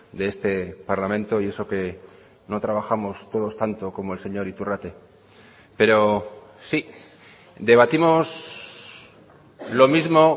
de este parlamento y eso que no trabajamos todos tanto como el señor iturrate pero sí debatimos lo mismo